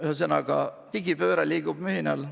Ühesõnaga, digipööre toimub mühinal.